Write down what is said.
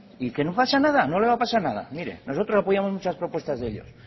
y que no pasa nada no le va a pasar nada mire nosotros apoyamos muchas propuestas de ellos